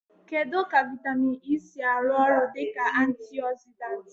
Kedu ka vitamin E si arụ ọrụ dị ka antioxidant?